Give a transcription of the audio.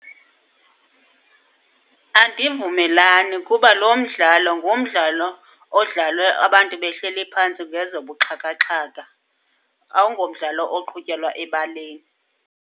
Andivumelani kuba lo mdlalo ngumdlalo odlalwe abantu behleli phantsi ngezobuxhakaxhaka, awungomdlalo oqhutyelwa ebaleni.